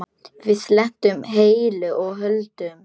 Við lentum heilu og höldnu.